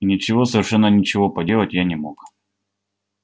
и ничего совершенно ничего поделать я не мог